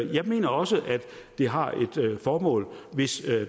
jeg mener også at det har et formål hvis